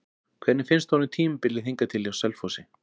Hvernig finnst honum tímabilið hingað til hjá Selfossi?